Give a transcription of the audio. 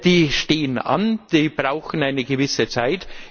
Die stehen an, die brauchen eine gewisse Zeit.